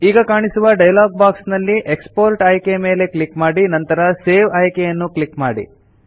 ಈಗ ಕಾಣಿಸುವ dialog box ನಲ್ಲಿ ಎಕ್ಸ್ಪೋರ್ಟ್ ಆಯ್ಕೆಯ ಮೇಲೆ ಕ್ಲಿಕ್ ಮಾಡಿ ನಂತರ ಸೇವ್ ಆಯ್ಕೆ ಯನ್ನು ಕ್ಲಿಕ್ ಮಾಡಿ